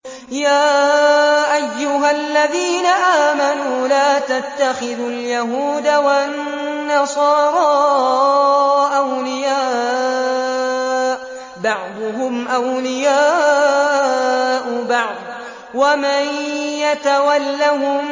۞ يَا أَيُّهَا الَّذِينَ آمَنُوا لَا تَتَّخِذُوا الْيَهُودَ وَالنَّصَارَىٰ أَوْلِيَاءَ ۘ بَعْضُهُمْ أَوْلِيَاءُ بَعْضٍ ۚ وَمَن يَتَوَلَّهُم